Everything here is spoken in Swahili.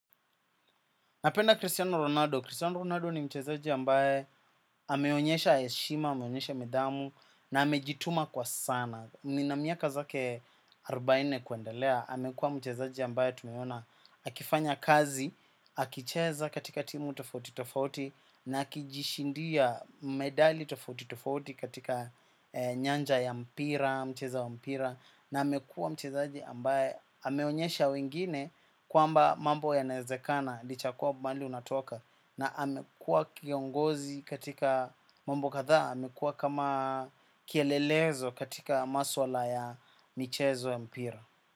Napenda Cristiano Ronaldo. Cristiano Ronaldo ni mchezaji ambaye ameonyesha heshima, ameonyesha nidhamu, na amejituma kwa sana. Miaka yake arobaine kuendelea, amekuwa mchezaji ambaye tumeona. Akifanya kazi, akicheza katika timu tofauti tofauti, na akijishindia medali tofauti tofauti katika nyanja ya mpira, mchezaji wa mpira. Na amekuwa mchezaji ambaye ameonyesha wengine kwamba mambo yanawezekana licha ya mbali unatoka. Na amekuwa kiongozi katika mambo kadhaa, amekuwa kama kielelezo katika masuala ya michezo ya mpira.